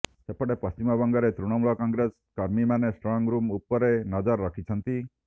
ସେପଟେ ପଶ୍ଚିମବଙ୍ଗରେ ତୃଣମୂଳ କଂଗ୍ରେସ କର୍ମୀମାନେ ଷ୍ଟ୍ରଙ୍ଗରୁମ ଉପରେ ନଜର ରଖିଛନ୍ତି